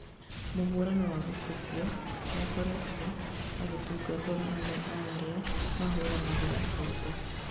mũhano wa gũkobio noakoretwo agĩtũgwo nĩ amwe a arĩa mahũranagĩra ihoto